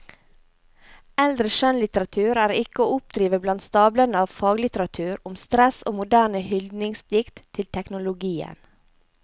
Eldre skjønnlitteratur er ikke å oppdrive blant stablene av faglitteratur om stress og moderne hyldningsdikt til teknologien.